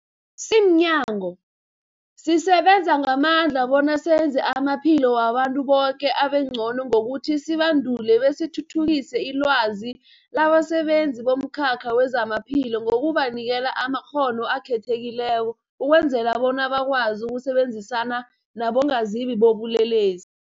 Simnyango, sisebenza ngamandla bona senze amaphilo wabantu boke abengcono ngokuthi sibandule besithuthukise ilwazi labasebenzi bomkhakha wezamaphilo ngokubanikela amakghono akhethekileko ukwenzela bona bakwazi ukusebenzisana nabongazimbi bobulelesi.